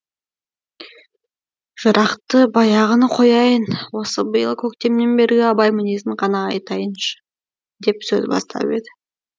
жырақты баяғыны қояйын осы биыл көктемнен бергі абай мінезін ғана айтайыншы деп сөз бастап еді